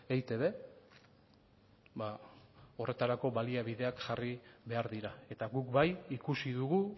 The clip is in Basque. eitb ba horretarako baliabideak jarri behar dira eta guk bai ikusi dugu